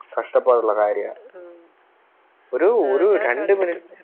കഷ്ടപ്പാടുള്ള കാര്യ ഒരു ഒരു രണ്ട് Minute